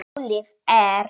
Málið er